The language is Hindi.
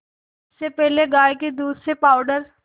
इससे पहले गाय के दूध से पावडर